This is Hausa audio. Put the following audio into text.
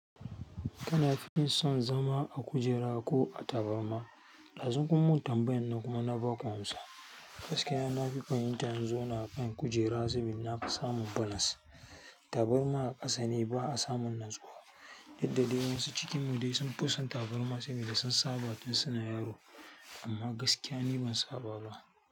Kana fi son zama a kujera ko a tabarma? Ɗazun kuma tambayan na kuma baku amsa gaskiya na fi fahimtar in zauna a kan kujera saboda na fi samun balance. Tabarma a ƙasa ne ba a samun natsuwa, duk da dai wasu a cikin mu dai sun fi son tabarma saboda sun saba tun suna yaro amma gaskiya ni ban saba ba.